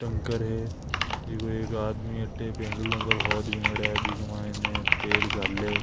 टैंकर है जिको एक आदमी अठ पेट्रोल पंप पर होद बणयोडा है बी के मायने तेल घाले।